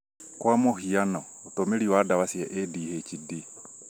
kwa mũhiano, ũtũmĩri wa ndawa cia ADHD